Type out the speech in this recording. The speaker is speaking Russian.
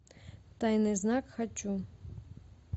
тайный знак хочу